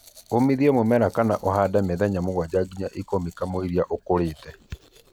ũmithia mũmera kana ũhande mĩthenya 7-10 kamũira kuurĩte